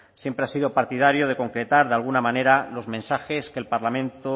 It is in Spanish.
siempre ha sido partidario de concretar de alguna manera los mensajes que el parlamento